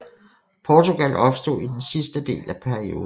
Portugal opstod i den sidste del af perioden